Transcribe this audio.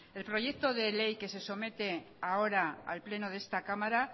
el proyecto de ley que se somete ahora al pleno de esta cámara